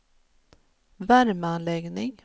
värmeanläggning